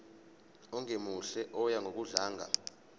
ongemuhle oya ngokudlanga